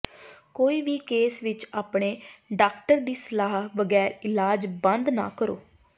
ਕੋਈ ਵੀ ਕੇਸ ਵਿੱਚ ਆਪਣੇ ਡਾਕਟਰ ਦੀ ਸਲਾਹ ਬਗੈਰ ਇਲਾਜ ਬੰਦ ਨਾ ਕਰੋ